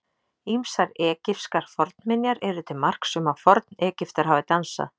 Ýmsar egypskar fornminjar eru til marks um að Forn-Egyptar hafi dansað.